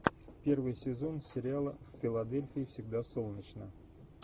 первый сезон сериала в филадельфии всегда солнечно